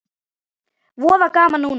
Voða gaman núna.